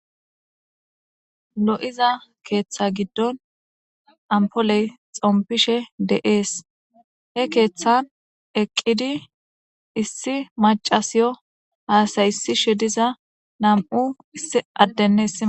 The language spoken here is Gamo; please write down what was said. lo7iza keeththa giddon ampoley xompishe de7ees he keeththan eqqidi issi macasiyo haasaysishe diza nam7u issi addenes